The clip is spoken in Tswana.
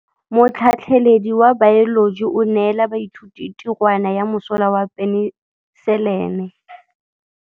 Motlhatlhaledi wa baeloji o neela baithuti tirwana ya mosola wa peniselene.